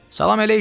Salam əleyküm!